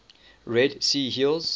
red sea hills